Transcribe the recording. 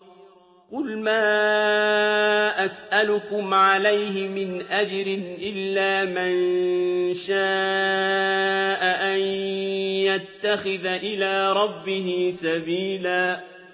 قُلْ مَا أَسْأَلُكُمْ عَلَيْهِ مِنْ أَجْرٍ إِلَّا مَن شَاءَ أَن يَتَّخِذَ إِلَىٰ رَبِّهِ سَبِيلًا